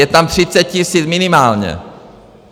Je tam 30 tisíc minimálně!